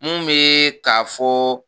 Mun bɛɛɛ k'a fɔɔɔ.